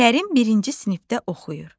Kərim birinci sinifdə oxuyur.